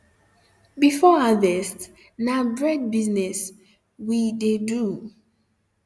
before harvest na bread business we um de do